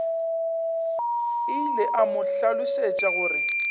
ile a mo hlalosetša gore